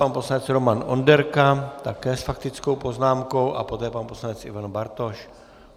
Pan poslanec Roman Onderka také s faktickou poznámkou a poté pan poslanec Ivan Bartoš.